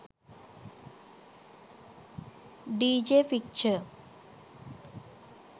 dj picture